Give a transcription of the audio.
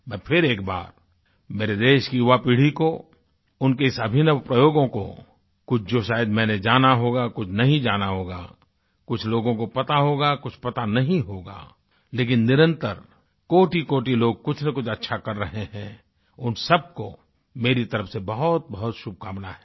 मैं फिर एक बार मेरे देश की युवापीढ़ी को उनके इस अभिनव प्रयोगों को कुछ जो शायद मैंने जाना होगा कुछ नहीं जाना होगा कुछ लोगों को पता होगा कुछ पता नहीं होगा लेकिन निरंतर कोटिकोटि लोग कुछनकुछ अच्छा कर रहे हैं उन सबको मेरी तरफ से बहुतबहुत शुभकामना हैं